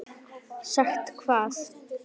Sagt hvað?